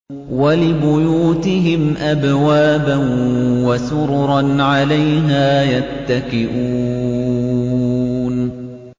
وَلِبُيُوتِهِمْ أَبْوَابًا وَسُرُرًا عَلَيْهَا يَتَّكِئُونَ